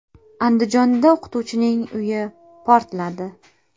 Andijonda o‘qituvchining uyi portladi.